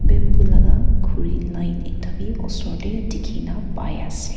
bamboo laga khuri line ekta bi osor te dikhina pai ase.